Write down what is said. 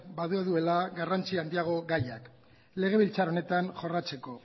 badaudela garrantzia handiagoko gaiak legebiltzar honetan jorratzeko